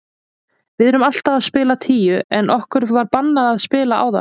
Við erum alltaf að spila tíu en okkur var bannað að spila áðan.